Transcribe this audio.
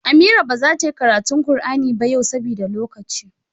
Amira ba zata yi karatu Kur'ani ba yawa saboda lokaci